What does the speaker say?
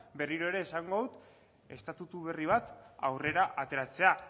berriro ere esango dut estatutu berri bat aurrera ateratzea